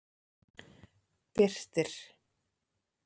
Birtir